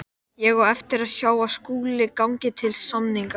Þessu tilgangi hyggst félagið fyrst og fremst ná með því